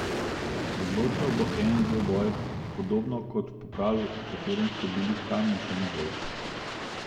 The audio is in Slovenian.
Odločal bo en dvoboj, podobno kot v pokalu, v katerem so bili Kamničani boljši.